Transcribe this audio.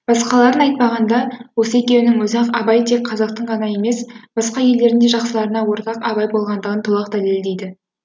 басқаларын айтпағанда осы екеуінің өзі ақ абай тек қазақтың ғана емес басқа елдердің де жақсыларына ортақ абай болғандығын толық дәлелдейді